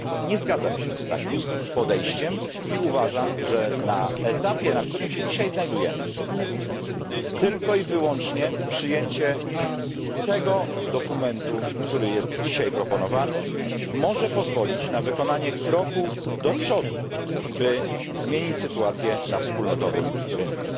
Nie zgadzam się z takim podejściem i uważam, że na etapie, na którym się dzisiaj znajdujemy, tylko i wyłącznie przyjęcie tego dokumentu, który jest dzisiaj proponowany, może pozwolić na wykonanie kroku do przodu, by zmienić sytuację na wspólnotowym rynku,